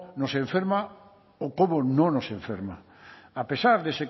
nos enferma o cómo no nos enferma a pesar de ese